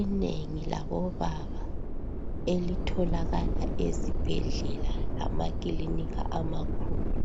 Inengi labobaba elitholakala ezibhedlela lamakilinika amakhulu